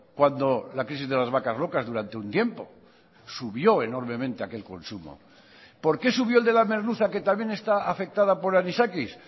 cuando la crisis de las vacas locas durante un tiempo subió enormemente aquel consumo por qué subió el de la merluza que también está afectada por anisakis